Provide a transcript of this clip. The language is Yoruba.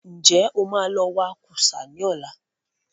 Ǹjẹ́ o má lọ wa kúsá ní ọ̀la?